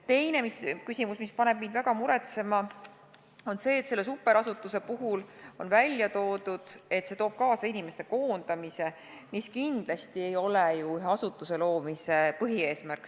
Teine küsimus, mis paneb mind väga muretsema, on see, et selle superasutuse puhul on välja toodud, et see toob kaasa inimeste koondamise, mis kindlasti ei ole ju ühe asutuse loomise põhieesmärk.